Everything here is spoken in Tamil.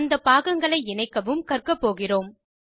அந்த பாகங்களை இணைக்கவும் கற்க போகிறோம்